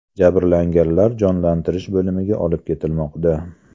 Jabrlanganlar jonlantirish bo‘limiga olib ketilmoqda.